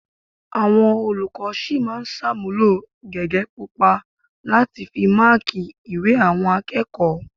Àwọn olùkọ́ sì máa ṣàmúlò gègé pupa láti fi máákì ìwé àwọn akẹ́kọ̀ọ́